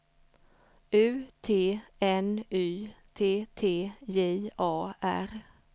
U T N Y T T J A R